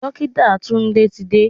Dókítà Tunde ti dé.